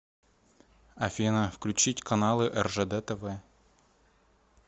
афина включить каналы ржд тв